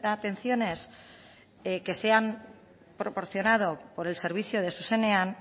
atenciones que se han proporcionado por el servicio de zuzenean